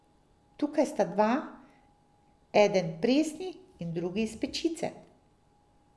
Tukaj sta dva, eden presni in drugi iz pečice.